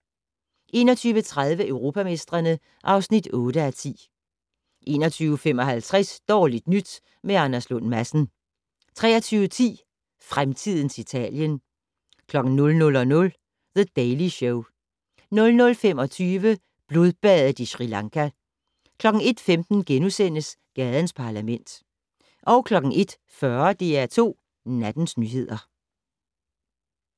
21:30: Europamestrene (8:10) 21:55: Dårligt nyt med Anders Lund Madsen 23:10: Fremtidens Italien 00:00: The Daily Show 00:25: Blodbadet i Sri Lanka 01:15: Gadens Parlament * 01:40: DR2 Nattens nyheder